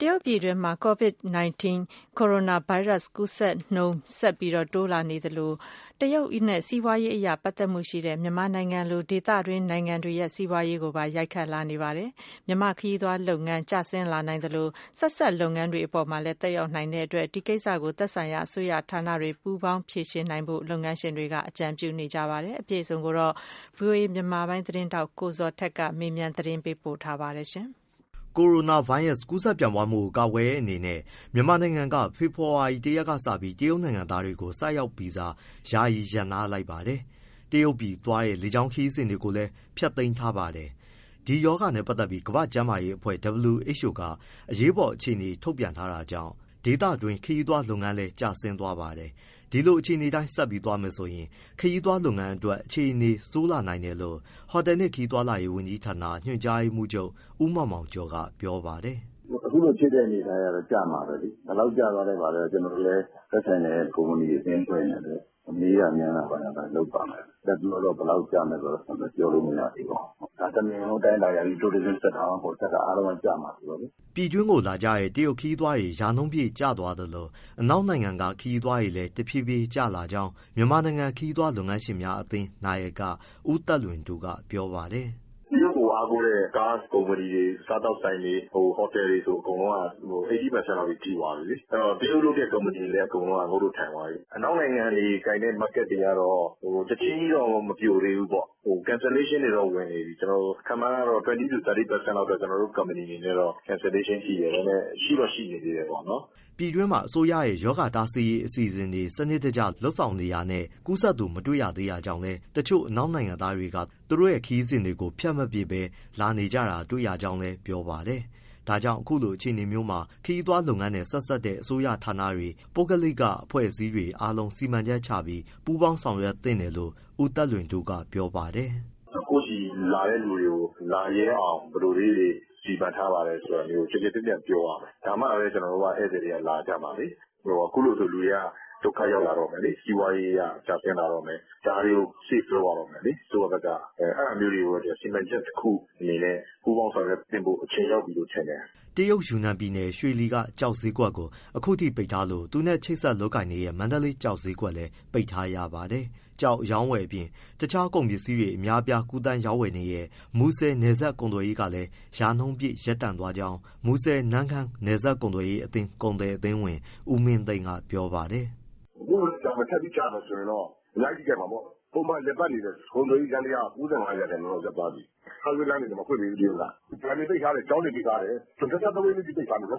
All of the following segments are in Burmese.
တရုတ်ပြည်တွင်း Covid 19 ကိုရိုနာဗိုင်းရပ် ကူးစက်နှုန်းဆက်ပြီး တိုးနေသလို တရုတ်နဲ့ စီးပွားရေးအရ ပတ်သက်မှုရှိတဲ့ မြန်မာနိုင်ငံလို ဒေသတွင်း နိုင်ငံတွေရဲ့ စီးပွားရေးကိုလည်း ရိုက်ခတ်လာပါတယ်။ မြန်မာ့ခရီးသွားလုပ်ငန်းကျနိုင်သလို ဆက်စပ်လုပ်ငန်းအပေါ်လည်း သက်ရောက်နိုင်လို့ ဒီကိစ္စကို သက်ဆိုင်ရာအစိုးရဌာနတွေ ပူးပေါင်းဖြေရှင်းနိုင်ဖို့ လုပ်ငန်းရှင်တွေကအကြံပြုနေပါတယ်။ အပြည့်အစုံကို ဗွီအိုအေ မြန်မာပိုင်းသတင်းထောက် ကိုဇော်ထက်က မေးမြန်း ပေးပို့ထားပါတယ်။ ကိုရိုနာဗိုင်းရပ်စ် ကူးစက်ပြန့်ပွားမှုကို ကာကွယ်တဲ့အနေနဲ့ မြန်မာနိုင်ငံက ဖေဖော်ဝါရီလ ၁ရက်ကစပြီး တရုတ်နိုင်ငံသားတွေကို ဆိုက်ရောက်ဗီဇာ ယာယီရပ်နားလိုက်ပါတယ်။ တရုတ်ပြည်သွားတဲ့ လေကြောင်းခရီးစဉ် တွေကိုလည်း ဖျက်သိမ်းထားပါတယ်။ ဒီရောဂါနဲ့ ပတ်သက်ပြီး ကမ္ဘာ့ကျန်းမာရေးအဖွဲ့ WHO က အရေးပေါ်အခြေအနေထုတ်ပြန်ထား တာကြောင့် ဒေသတွင်း ခရီးသွားလုပ်ငန်းလည်း ကျဆင်းသွားပါတယ်။ ဒီလိုအခြေအနေအတိုင်း ဆက်သွားမယ်ဆိုရင် ခရီးသွားလုပ်ငန်း အတွက် အခြေနေ ဆိုးလာ နိုင်တယ်လို့ ဟိုတယ်နှင့် ခရီးသွားလာရေး ဝန်ကြီးဌာန ညွှန်ကြားရေးမှူးချုပ် ဦးမောင်မောင်ကျော်က ပြောပါတယ်။ “ အခုလိုဖြစ်တဲ့ အနေအထားကတော့ ကျမှာပဲလေ၊ ဘယ်လောက်ကျသွားလဲ၊ ဘာလဲ ကျနော်တို့လည်း သက်ဆိုင်တဲ့ ကုမ္ပဏီ အသင်းအဖွဲ့တွေနဲ့ မေးတာမြန်းတာ လုပ်ပါမယ်။ လတ်တလောတော့ ဘယ်လောက်ကျမလဲ ပြောလို့မရပါဘူး။ တနိုင်ငံလုံးအတိုင်းအတာအရ tourism sector မှမဟုတ်ဘူး အားလုံးက ကျမှာဆိုတော့လေ။” ပြည်တွင်းကို လာကြတဲ့ တရုတ်ခရီးသွားတွေ ရာနှုန်းပြည့်ကျသွားသလို အနောက်နိုင်ငံက ခရီးသွားတွေလည်း တဖြည်းဖြည်း ကျလာကြောင်း မြန်မာနိုင်ငံ ခရီးသွားလုပ်ငန်းရှင်များ အသင်း နာယက ဦးသက်လွင်တိုးက ပြောပါတယ်။ “ တရုတ်ကို အားကိုးတဲ့ ကားကုမ္ပဏီတွေ၊ စားသောက်ဆိုင်တွေ၊ ဟိုတယ်တွေဆို အကုန်လုံးက ၈၀% လောက်ထိသွာပြီလေ။ တရုတ်လုပ်တဲ့ ကုမ္ပဏီတွေက အကုန် ငုတ်တုပ်ထိုင်သွားပြီ။ အနောက်နိုင်ငံတွေကိုင်တဲ့ market တွေကတော့ ချက်ချင်းကြီးမပြိုသေးဘူးပေါ့၊ cancelation တွေတော့ဝင်နေပြီ။ ခန့်မှန်း ၂၀- ၃၀ % လောက်တော့ ကျနော်တို့ ကုမ္ပဏီအနေနဲ့ cancelation ထိတယ်။ ဒါပေမဲ့ ရှိတော့ရှိနေသေးတယ်ပေါ့။ ပြည်တွင်းမှာ အစိုးရရဲ့ ရောဂါတားဆီးရေး အစီအစဉ် စနစ်တကျ လုပ်ဆောင် နေတာနဲ့ ကူးစက်သူ မတွေ့ရ သေးတာကြောင့်လည်း တချို့အနောက်နိုင်ငံသားတွေက သူတို့ရဲ့ ခရီးစဉ် တွေကို ဖျက်မပစ်ဘဲ လာနေတာ တွေ့ရ တယ် လို့လည်း ပြောပါတယ်။ ဒါကြောင့် အခုလိုအခြေအနေမျိုးမှာ ခရီးသွားလုပ်ငန်းနဲ့ ဆက်စပ်တဲ့ အစိုးရဌာနတွေ၊ ပုဂ္ဂလိက အဖွဲ့အစည်းတွေ အားလုံး စီမံချက်ချပြီး ပူးပေါင်း ဆောင်ရွက် သင့်တယ်လို့လည်း ဦးသက်လွင်တိုးက ပြောပါတယ်။ “ ကိုယ့်ဆီလာတဲ့သူတွေကို လာရဲအောင် ဘယ်လိုလေးတွေ စီမံထားပါတယ်ဆိုတာမျိုး ကျယ်ကျယ်ပြန့်ပြန့်ပြောရမယ်။ ဒါမှပဲ ဧည့်သည်တွေက လာကြမှာလေ။ အခုလိုဆို လူတွေက ဒုက္ခရောက်လာတော့မယ်လေ စီးပွားရေးအရ ကျဆင်းလာတော့မယ်။ ဒါတွေကို safe လုပ်ရတော့မယ်လေ အစိုးရဘက်က။ အဲဒါမျိုးတွေကို စီမံချက်တခုအနေနဲ့ ပူပေါင်းဆောင်ရွက်သင့်ဖို့ အချိန်ရောက်ပြီလို့ထင်တယ်။” တရုတ်ယူနန်ပြည်နယ် ယူနန် ကျောက်ဈေးကွက်ကို အခုထိ ပိတ်ထားလို့ သူနဲ့ ချိတ်ဆက်လုပ်ကိုင်နေတဲ့ မန္တလေး ကျောက်ဈေးကွက်လည်း ပိတ်ထားရပါတယ်။ ကျောက် အရောင်းအဝယ် အပြင် တခြားကုန်ပစ္စည်း တွေ အများအပြား ကူးသန်းရောင်းဝယ်တဲ့ မူဆယ်နယ်စပ်ကုန်သွယ်ရေးကလည်း ရာနှုန်းပြည့်ရပ်တန့်သွားကြောင်း မူဆယ်- နမ့်ခမ်း နယ်စပ်ကုန်သွယ်ရေး ကုန်သည်အသင်းဝင် ဦးမင်းသိန်းက ပြောပါတယ်။ “ အခုလည်းကြာမယ် ထပ်ပြီးလည်းကြာမယ်ဆိုရင်တော့ အများကြီးထိခိုက်မှာပေါ့။ ပုံမှန်လည်ပတ်နေတဲ့ ကုန်သွယ်ရေး ယန္တရားဟာ ၉၅% လောက် ရပ်သွားပြီ။ ဟိုင်းဝေးလမ်းတွေတရုတ်က မဖွင့်သေးဘူး၊ ဘဏ်တွေပိတ်ထားတယ်၊ ကျောင်းတွေပိတ်ထားတယ်၊ ၂၃ ရက်ထိပိတ်ထားမယ်၊ ၂၄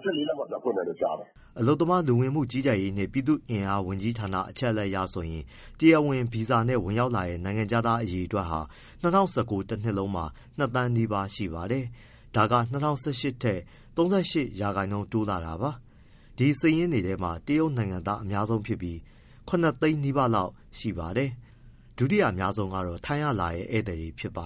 လောက်မှ ပြန်ဖွင့်မယ်ကြားတယ်။” အလုပ်သမားလူဝန်မှုကြီးကြပ်ရေးနှင့် ပြည်သူ့အင်အားဝန်ကြီးဌာန အချက်အလက်အရဆိုရင် တရားဝင်ဗီဇာနဲ့ ဝင်ရောက်နိုင်ငံခြားသားအရေအတွက်ဟာ ၂၀၁၉ တနှစ်လုံးမှာ ၂ သန်းနီးပါး ( ၁, ၉၃၀, ၄၂၅ ယောက်) ရှိပါတယ်။ ဒါက ၂၀၁၈ ထက် ၃၈% တိုးလာတာပါ။ဒီစာရင်းထဲမှာ တရုတ်နိုင်ငံသား အများဆုံးဖြစ်ပြီး ၇သိန်းနီးပါးလောက် ရှိပါတယ်။ ဒုတိယအများဆုံး ကတော့ ထိုင်းကလာတဲ့ ဧည့်သည်တွေပါ